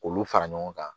K'olu fara ɲɔgɔn kan